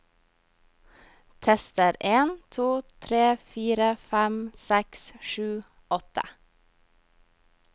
Tester en to tre fire fem seks sju åtte